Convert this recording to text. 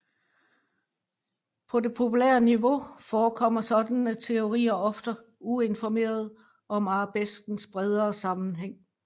På det populære niveau forekommer sådanne teorier ofte uinformerede om arabeskens bredere sammenhæng